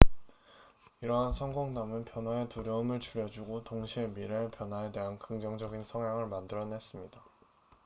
이러한 성공담은 변화의 두려움을 줄여주고 동시에 미래의 변화에 대한 긍정적인 성향을 만들어냈습니다